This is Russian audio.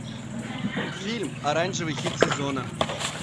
фильм оранжевый хит сезона